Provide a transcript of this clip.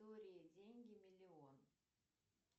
деньги миллион